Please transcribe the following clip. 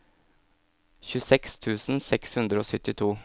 tjueseks tusen seks hundre og syttito